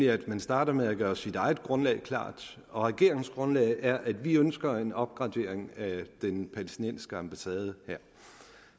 at man starter med at gøre sit eget grundlag klart og regeringens grundlag er at vi ønsker en opgradering af den palæstinensiske ambassade